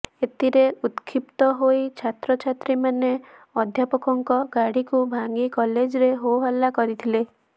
ଏଥିରେ ଉତକ୍ଷିପ୍ତ ହୋଇ ଛାତ୍ର ଛାତ୍ରୀ ମାନେ ଅଧ୍ୟାପକଙ୍କ ଗାଡିକୁ ଭାଙ୍ଗି କଲେଜରେ ହୋହଲା କରିଥିଲେ